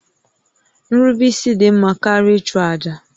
Nrubeisi dị mma karịa ịchụ àjà